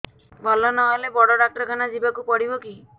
ଭଲ ନହେଲେ ବଡ ଡାକ୍ତର ଖାନା ଯିବା କୁ ପଡିବକି